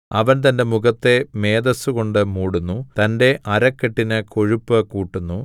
അവൻ തന്റെ മുഖത്തെ മേദസ്സുകൊണ്ട് മൂടുന്നു തന്റെ അരക്കെട്ടിന് കൊഴുപ്പ് കൂട്ടുന്നു